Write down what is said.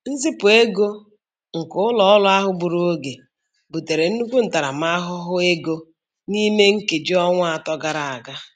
Nzipụ ego nke ụlọ ọrụ ahụ gburu oge butere nnukwu ntaramahụhụ ego n'ime nkeji ọnwa atọ gara aga.